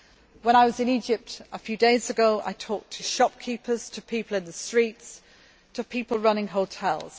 When I was in Egypt a few days ago, I talked to shopkeepers, to people in the streets and to people running hotels.